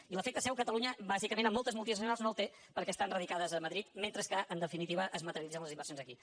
i l’efecte seu a catalunya bàsicament en moltes multinacionals no el té perquè estan radicades a madrid mentre que en definitiva es materialitzen les inversions aquí